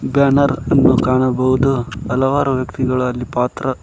banner ಅನ್ನು ಕಾಣಬಹುದು ಹಲವಾರು ವ್ಯಕ್ತಿಗಳಲ್ಲಿ ಪಾತ್ರ --